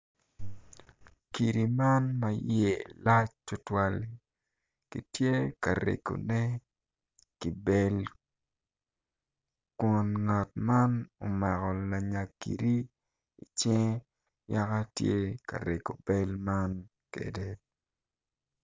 Kidi man ma iye lac tutwal kitye ka regune ki bel kun ngat man omako lanya kidi i cinge yaka tye ka regu bel man kede